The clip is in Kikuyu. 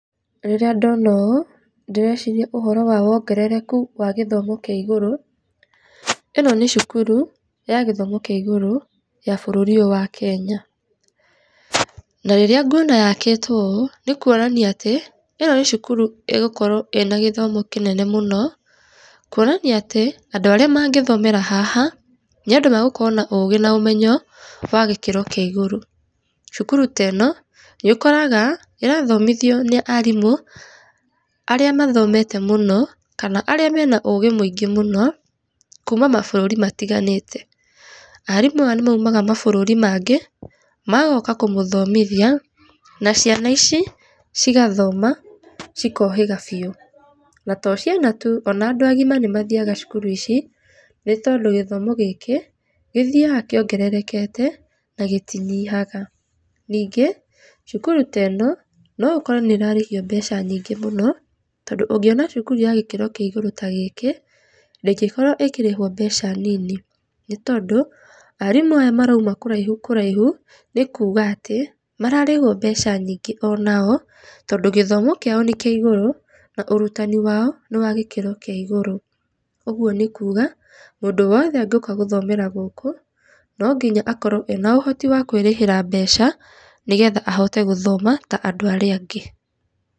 Rĩrĩa ndona ũũ, ndĩreciria ũhoro wa wongerereku wa gĩthomo kĩa igũrũ. Ino nĩ cukuru ya gĩthomo kĩa igũrũ ya bũrũri ũyũ wa Kenya. Na rĩrĩa nguona yakĩtwo ũũ nĩ kuonania atĩ ĩno nĩ cukuru ĩgũkorwo na gĩthomo kĩa igũrũ mũno kuonania atĩ, andũ arĩa mangĩthomera haha nĩ andũ magũkorwo na ũgĩ na ũmenyo wa gĩkĩro kĩa igũrũ. Cukuru teno, nĩ ũkoraga ĩrathomithio nĩ arimu aria mathomete mũno kana arĩa mena ũgĩ mũingĩ mũno kũũma mabũrũri matiganĩte. Arimũ aya nĩ maumaga mabũrũri mangĩ magoka kũmũthomithia na ciana ici cigathoma cikohĩga biũ. Na to ciana tu, ona andũ agima nĩ mathiaga cukuru ici, nĩ tondũ gĩthomo gĩkĩ gĩthiaga kĩongererekete na gĩtinyihaga. Ningĩ cukuru teno no ũkore nĩrarĩhio mbeca nyingĩ mũno, tondũ ũngĩona cukuru ya gĩkĩro kĩa igũrũ ta gĩkĩ, ndĩngĩkorwo ĩkĩrĩhwo mbeca nini, nĩ tondũ arimũ aya marauma kũraihu kũraihu, nĩ kũũga atĩ mararĩhwo mbeca nyingĩ onao, tondũ gĩthomo kĩao nĩ kĩa igũrũ na ũrutani wao nĩ wa gĩkĩro kĩa igũrũ. Ũguo ni kuga, mũndũ owothe agĩũka gũthomera gũũkũ no nginya akorwo na ũhoti wa kwĩrĩhĩra mbeca nĩgetha ahote gũthoma ta andũ aria angĩ.